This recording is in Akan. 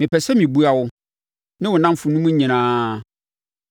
“Mepɛ sɛ mebua wo ne wo nnamfonom nyinaa.